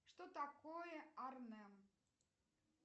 что такое арнем